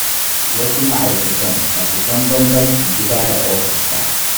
Wasu ma'aikatan ba su san bambancin gida da ofis ba.